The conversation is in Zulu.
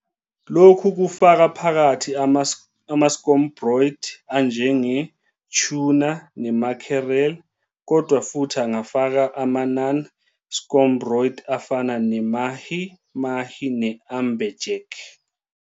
Lokhu kufaka phakathi ama- scombroids anjenge- tuna ne- mackerel, kodwa futhi angafaka ama-non-scombroids afana ne- mahi-mahi ne- amberjack.